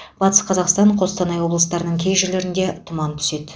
батыс қазақстан қостанай облыстарының кей жерлерінде тұман түседі